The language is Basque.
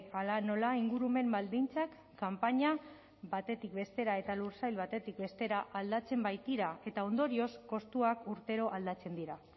hala nola ingurumen baldintzak kanpaina batetik bestera eta lursail batetik bestera aldatzen baitira eta ondorioz kostuak urtero aldatzen dira